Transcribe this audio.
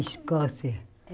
Escócia.